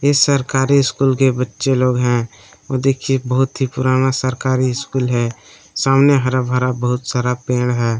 ये सरकारी स्कूल के बच्चे लोग हैं और देखिए बहोत ही पुराना सरकारी स्कूल है सामने हराभरा बहुत सारा पेड़ है।